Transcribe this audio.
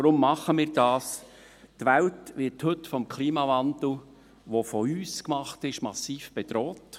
– Die Welt wird heute vom Klimawandel, der von uns gemacht ist, massiv bedroht.